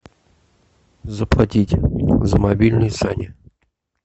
заплатить за мобильный сане